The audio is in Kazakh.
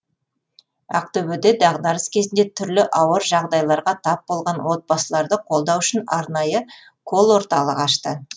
ақтөбеде дағдарыс кезінде түрлі ауыр жағдайларға тап болған отбасыларды қолдау үшін арнайы колл орталық ашты